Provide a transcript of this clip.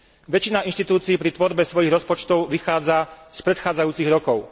Väčšina inštitúcií pri tvorbe svojich rozpočtov vychádza z predchádzajúcich rokov.